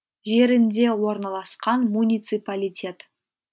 жерінде орналасқан муниципалитет